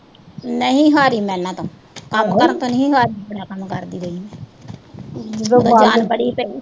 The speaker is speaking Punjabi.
ਕੰਮ ਕਰਦੀ ਰਈ ਆਂ